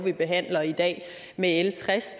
vi behandler i dag med l tres